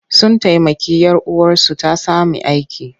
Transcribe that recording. Sun taimaki 'yar uwarsu ta sami aiki.